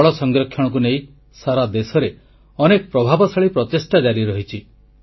ଜଳ ସଂରକ୍ଷଣକୁ ନେଇ ସାରା ଦେଶରେ ଅନେକ ପ୍ରଭାବଶାଳୀ ପ୍ରଚେଷ୍ଟା ଜାରି ରହିଛି